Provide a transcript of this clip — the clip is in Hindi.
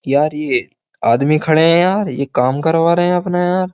यार ये आदमी खड़े हैं यार ये काम करवा रहे हैं अपना यार।